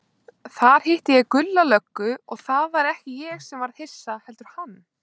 Þar hitti ég Gulla löggu, og það var ekki ég sem varð hissa, heldur hann.